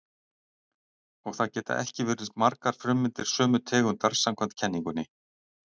Og það geta ekki verið margar frummyndir sömu tegundar samkvæmt kenningunni.